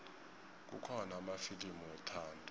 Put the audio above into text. kukhona amafilimu wethando